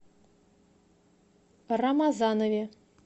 рамазанове